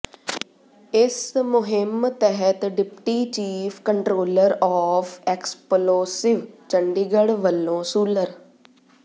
ਇਸ ਮੁੁਹਿੰਮ ਤਹਿਤ deputy chief controller of explosive Chandigarh ਵੱਲੋਂ ਸੂਲਰ